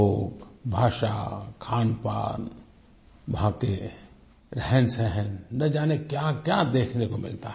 लोग भाषा खानपान वहाँ के रहनसहन न जाने क्याक्या देखने को मिलता है